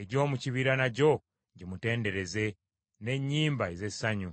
egy’omu kibira nagyo gimutendereze n’ennyimba ez’essanyu.